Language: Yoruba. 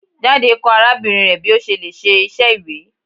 Jade kọ arabinrin rẹ bi o ṣe le ṣe iṣẹ iwe